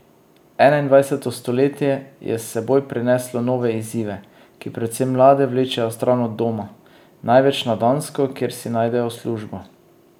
Enaindvajseto stoletje je s seboj prineslo nove izzive, ki predvsem mlade vlečejo stran od doma, največ na Dansko, kjer si najdejo službo.